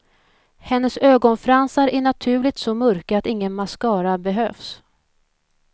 Hennes ögonfransar är naturligt så mörka att ingen mascara behövs.